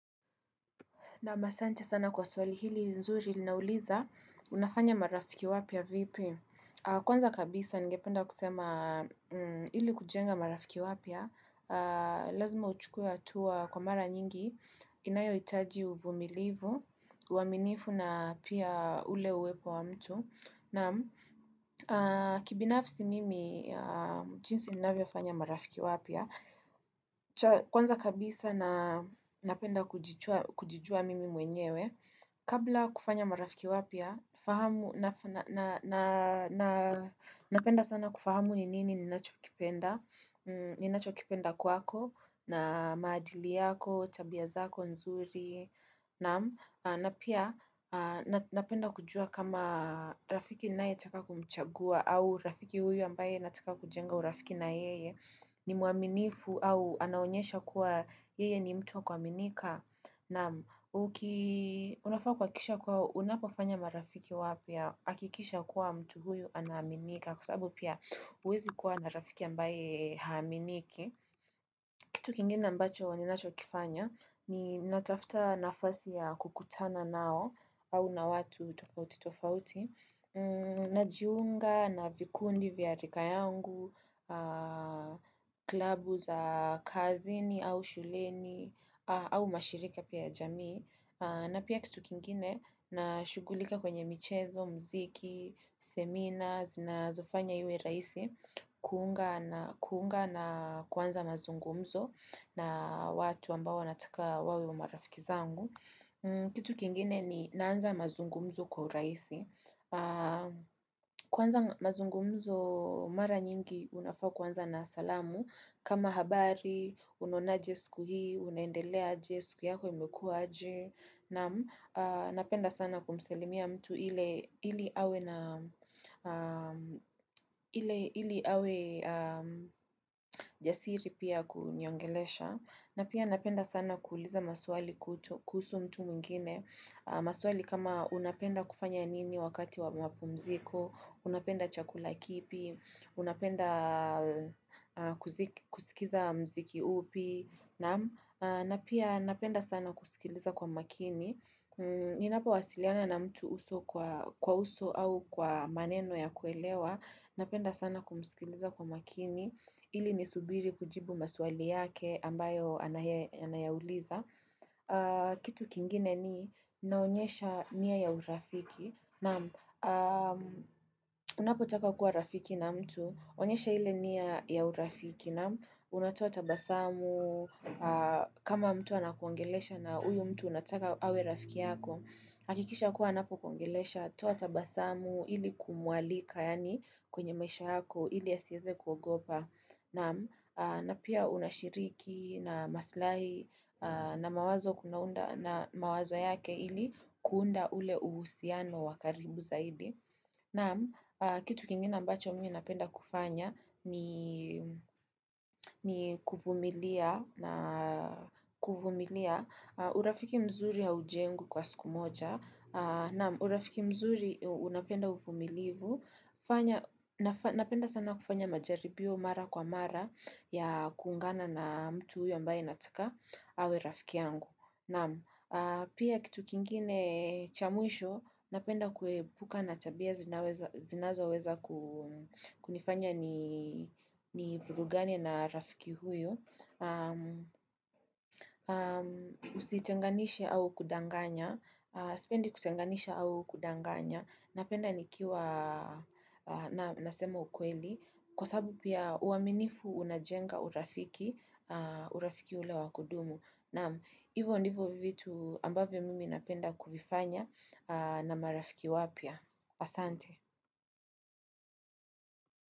Naam asante sana kwa swali hili nzuri linauliza, unafanya marafiki wapya vipi? Kwanza kabisa ningependa kusema ili kujenga marafiki wapya, lazima uchukue hatua kwa mara nyingi, inayohitaji uvumilivu, uaminifu na pia ule uwepo wa mtu. Naam kibinafsi mimi, jinsi ninavyofanya marafiki wapya. Kwanza kabisa na napenda kujichua kujijua mimi mwenyewe Kabla kufanya marafiki wapya fahamu na Napenda sana kufahamu ni nini ninacho kipenda ninachokipenda kwako na maadili yako, tabia zako, nzuri Naam na pia napenda kujua kama rafiki ninayetaka kumchagua au rafiki huyu ambaye nataka kujenga urafiki na yeye ni mwaminifu au anaonyesha kuwa yeye ni mtu wa kuaminika naam uki unafaa kuhakikisha kuwa unapofanya marafiki wapya hakikisha kuwa mtu huyu anaaminika kwa sababu pia huwezi kuwa na rafiki ambaye haaminiki kitu kingine ambacho ninachokifanya ni natafuta nafasi ya kukutana nao au na watu tofauti tofauti najiunga na vikundi vya rika yangu klabu za kazini au shuleni au mashirika pia jamii na pia kitu kingine na shughulika kwenye michezo, muziki, semina zinazofanya iwe rahisi Kuunga na kuunga na kuanza mazungumzo na watu ambao nataka wawe marafiki zangu kitu kingine ni naanza mazungumzo kwa urahisi kuanza mazungumzo mara nyingi unafaa kuanza na salamu kama habari, unaonaje siku hii, unaendelea aje, siku yako imekua aje Naam, napenda sana kumsalimia mtu ili awe na jasiri pia ya kuniongelesha na pia napenda sana kuuliza maswali kuhutu kuhusu mtu mwingine maswali kama unapenda kufanya nini wakati wa mapumziko, unapenda chakula kipi, unapenda kusikiza muziki upi Naam na pia napenda sana kusikiliza kwa makini Ninapowasiliana na mtu uso kwa uso au kwa maneno ya kuelewa Napenda sana kumsikiliza kwa makini ili nisubiri kujibu maswali yake ambayo anayauliza kitu kingine ni naonyesha nia ya urafiki Naam, unapotaka kuwa rafiki na mtu onyesha ile nia ya urafiki naam, unatoa tabasamu kama mtu anakuongelesha na huyo mtu Unataka awe rafiki yako hakikisha kuwa anapokuongelesha toa tabasamu ili kumualika yaani kwenye maisha yako Ili asiweze kugopa Naam, na pia unashiriki na maslahi na mawazo unaunda na mawazo yake ili kuunda ule uhusiano wa karibu zaidi. Naam, kitu kingine ambacho mimi napenda kufanya ni kuvumilia. Urafiki mzuri haujengwi kwa siku moja. Naam, urafiki mzuri unapenda uvumilivu fanya Napenda sana kufanya majaribio mara kwa mara ya kuungana na mtu huyo ambaye nataka. Awe rafiki yangu, naam. Pia kitu kingine cha mwisho napenda kukaaa na tabia zinaweza zinazoweza ku kunifanya ni vurugane na rafiki huyu. Usitenganisha au kudanganya. Sipendi kutenganisha au kudanganya. Napenda nikiwa nasema ukweli. Kwa sababu pia uaminifu unajenga urafiki urafiki ule wa kudumu. Naam, hivo ndivyo vitu ambavyo mimi napenda kuvifanya na marafiki wapya. Asante.